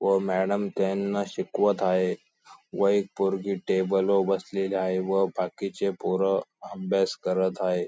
व मॅडम त्यांना शिकवत आहे व एक पोरगी टेबल वर बसलेली आहे व बाकीचे पोरं अभ्यास करत आहे.